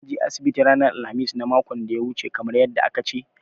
Ka je asibiti ranar alkhamis na makon da ya wuce kamar yadda aka ce?